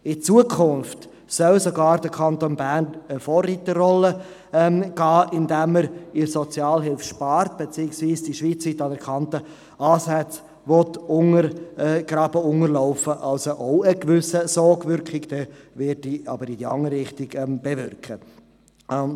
In Zukunft soll sogar der Kanton Bern eine Vorreiterrolle übernehmen, indem er in der Sozialhilfe sparen, beziehungsweise die schweizweit anerkannten Ansätze unterlaufen will, was auch eine gewisse Sogwirkung, jedoch in die andere Richtung, bewirken würde.